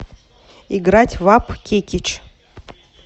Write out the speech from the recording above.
играть в апп кекич